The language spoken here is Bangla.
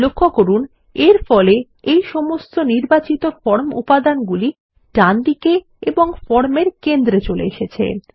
লক্ষ্য করুন এর ফলে এই সমস্ত নির্বাচিত ফর্ম উপাদানগুলি ডান দিকে এবং ফর্ম এর কেন্দ্রে চলে এসেছে